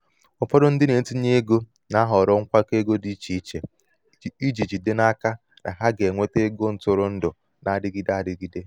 ụfọdụ ndị na-etinye ego na-ahọrọ nkwakọ ego dị iche iche iji jide n'aka na ha ga-enweta ego ntụrụndụ na-adịgide adịgide.